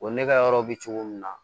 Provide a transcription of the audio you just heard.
O ne ka yɔrɔ bɛ cogo min na